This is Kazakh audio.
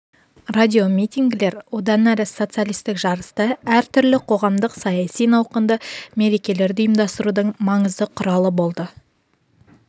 радиомитингілер одан әрі социалистік жарысты әр түрлі қоғамдық-саяси науқанды мерекелерді ұйымдастырудың маңызды құралы болды